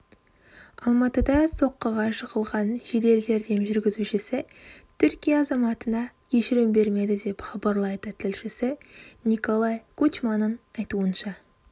алматыда соққыға жығылған жедел жәрдем жүргізушісі түркия азаматына кешірім бермеді деп хабарлайды тілшісі николай кучманың айтуынша